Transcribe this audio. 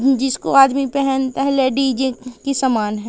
जिसको आदमी पेहनता हैं लेडीजे के सामान है।